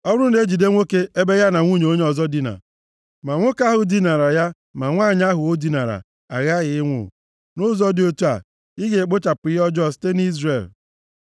Ọ bụrụ na e jide nwoke ebe ya na nwunye onye ọzọ dina, ma nwoke ahụ dinara ya ma nwanyị ahụ o dinara aghaghị ịnwụ. Nʼụzọ dị otu a, ị ga-ekpochapụ ihe ọjọọ a site nʼIzrel.